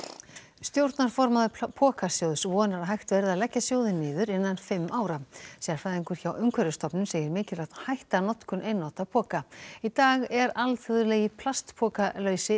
stjórnarformaður Pokasjóðs vonar að hægt verði að leggja sjóðinn niður innan fimm ára sérfræðingur hjá Umhverfisstofnun segir mikilvægt að hætta notkun einnota poka í dag er alþjóðlegi